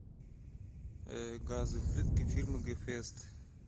газовые плитки фирмы гефест